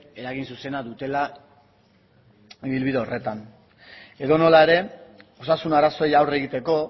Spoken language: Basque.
eragin zuzena dutela ibilbide horretan edonola ere osasun arazoei aurre egiteko